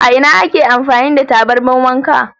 A ina ake amfani da tabarmar wanka?